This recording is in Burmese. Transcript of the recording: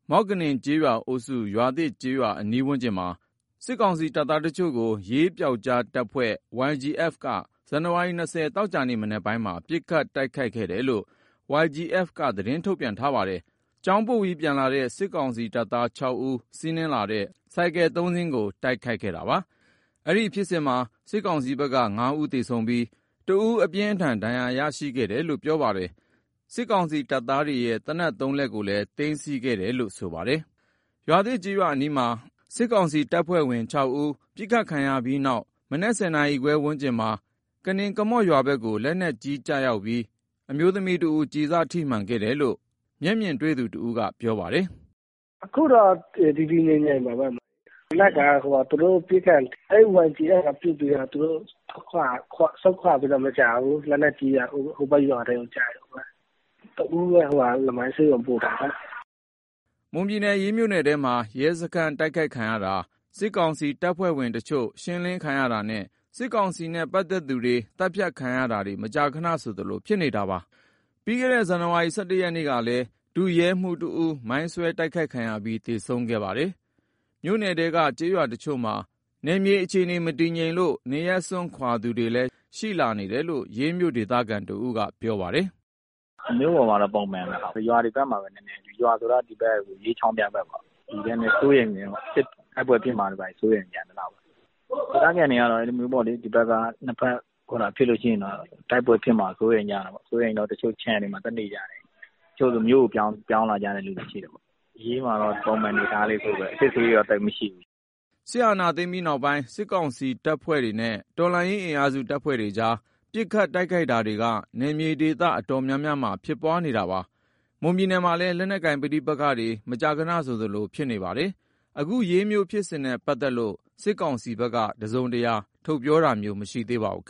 မော့ကနင်ကျေးရွာအုပ်စု ရွာသစ်ကျေးရွာ အနီးဝန်းကျင်မှာ စစ်ကောင်စီတပ်သား တချို့ကို ရေးပြောက်ကျားတပ်ဖွဲ့ YGF ကနေ ဇန်နဝါရီလ ၂၀ ရက်၊ သောကြာနေ့ မနက်ပိုင်းမှာ ပစ်ခတ်တိုက်ခိုက်ခဲ့တယ်လို့ YGF ဘက်က ထုတ်ပြန်ထားပါတယ်။ ကျောင်းပို့ပြီး ပြန်လာတဲ့ စစ်ကောင်စီတပ်သား ၆ ဦး ပါလာတဲ့ ဆိုင်ကယ် ၃ စီးကို တိုက်ခိုက်ခဲ့တာပါ။ အဲဒီဖြစ်စဉ်မှာ စစ်ကောင်စီဘက်က ၅ ဦးသေဆုံးပြီး ၁ ဦး အပြင်းအထန် ဒဏ်ရာရခဲ့တယ်လို့ ပြောပါတယ်။ စစ်ကောင်စီတပ်သားတွေ ပါလာတဲ့ သေနတ် ၃ လက်ကိုလည်း သိမ်းဆည်းခဲ့တယ်လို့ ပြောပါတယ်။ ရွာသစ်ကျေးရွာ အနီးမှာ စစ်ကောင်စီတပ်ဖွဲ့ဝင် ၆ ဦး ပစ်ခတ်ခံရ ပြီးတဲ့နောက် မနက် ၁၀ နာရီခွဲ ဝန်းကျင်မှာ ကနင်ကမော့ရွာဘက်ကို လက်နက်ကြီးကျပြီး အမျိုးသမီးတဦး ကျည်စထိမှန်ခဲ့တယ်လို့ မျက်မြင်တွေ့သူ တဦးက ပြောပါတယ်။ "အခုတော့ တည်တည်ငြိမ်ငြိမ်ပါပဲ။ မနက်က YGF က ပစ်ခတ်တာတွေ ပြီးတော့ သူတို့ဆုတ်ခွာပြီးတော့ မကြာဘူး၊ လက်နက်ကြီးက ဟိုဘက်ရွာထဲကို ကျတာပဲ။ တဦးပဲ လမိုင်းဆေးရုံ ပို့ထားရတယ်။" မွန်ပြည်နယ်၊ ရေးမြို့နယ်ထဲမှာ ရဲစခန်း တိုက်ခိုက်ခံရတာ၊ စစ်ကောင်စီ တပ်ဖွဲ့ဝင်တချို့ ရှင်းလင်းခံရတာ နဲ့ စစ်ကောင်စီနဲ့ ပတ်သက်သူတွေ သတ်ဖြတ်ခံရတာတွေက မကြာခဏဆိုသလို ဖြစ်နေတာပါ။ ပြီးခဲ့တဲ့ ဇန်နဝါရီလ ၁၁ ရက်နေ့ကလည်း ဒုရဲမှူးတဦး မိုင်းဆွဲတိုက်ခိုက်ခံရပြီး သေဆုံးခဲ့ပါတယ်။ မြို့နယ်ထဲက ကျေးရွာတချို့မှာ နယ်မြေအခြေအနေ မတည်ငြိမ်လို့ နေအိမ်စွန့်ခွာသူတွေလည်း ရှိနေတယ်လို့ ရေးမြို့ ဒေသခံတဦးက ပြောပါတယ်။ "မြို့ပေါ်မှာတော့ ပုံမှန်ပဲ။ ရွာတွေဘက်မှာပဲ နည်းနည်းပေါ့။ ရွာဆိုတာက ရေးချောင်းဖျားဘက်ပေါ့။ နည်းနည်း စိုးရိမ်တယ်။ တိုက်ပွဲတွေ ဘာတွေဖြစ်မှာ စိုးရိမ်တာ။ ဒေသခံတွေကတော့ နှစ်ဘက်ဖြစ်ရင်တော့ တိုက်ပွဲဖြစ်မှာ စိုးရိမ်ကြတာပေါ့။ စိုးရိမ်တော့ တချို့ ခြံတွေမှာ သွားနေကြတယ်။ တချို့ဆို မြို့ကိုပြောင်းလာကြတဲ့ သူတွေရှိတယ်။ ရေးဘက်ခြမ်းမှာတော့ အစစ်အဆေးတော့ သိပ်မရှိဘူး။ ပုံမှန် အနေအထားပဲ။" စစ်အာဏာသိမ်းပြီးတဲ့ နောက် စစ်ကောင်စီတပ်ဖွဲ့တွေနဲ့ တော်လှန်ရေးအင်အားစု အဖွဲ့တွေကြား ပစ်ခတ်တိုက်ခိုက်တာတွေက နယ်မြေဒေသ အတော်များများမှာ ဖြစ်ပွားနေတာပါ။ မွန်ပြည်နယ်မှာလည်း လက်နက်ကိုင် ပဋိပက္ခတွေက မကြာခဏ ဆိုသလိုဖြစ်နေတာပါ။ အခု ရေးဖြစ်စဉ်နဲ့ ပတ်သက်ပြီး စစ်ကောင်စီဘက်ကတော့ တစုံတရာ ထုတ်ပြန်ပြောဆိုတာမျိုး မရှိသေးပါဘူး။